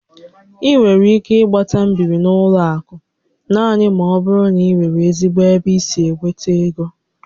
Ị nwere ike ịgbata mbibi n'ụlọ akụ naanị ma ọ bụrụ na ị nwere ezigbo ebe i si enweta égo